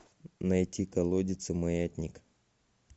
найти колодец и маятник